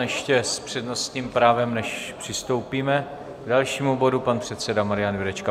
Ještě s přednostním právem, než přistoupíme k dalšímu bodu, pan předseda Marian Jurečka.